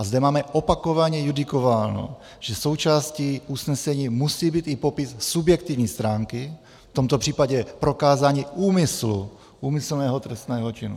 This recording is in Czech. A zde máme opakovaně judikováno, že součástí usnesení musí být i popis subjektivní stránky, v tomto případě prokázání úmyslu, úmyslného trestného činu.